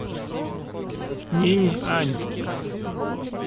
нинъань